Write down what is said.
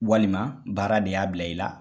Walima, baara de y'a bila i la.